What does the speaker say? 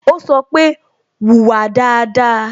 Ó sọ pé "Wùwà dáadáa"